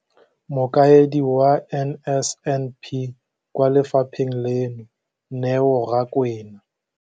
Mokaedi wa NSNP kwa lefapheng leno, Neo Rakwena,